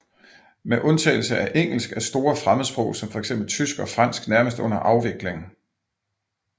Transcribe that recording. Med undtagelse af engelsk er store fremmedsprog som fx tysk og fransk nærmest under afvikling